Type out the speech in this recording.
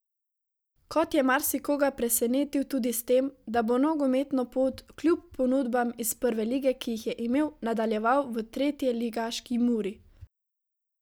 Kot je marsikoga presenetil tudi s tem, da bo nogometno pot kljub ponudbam iz prve lige, ki jih je imel, nadaljeval v tretjeligaški Muri.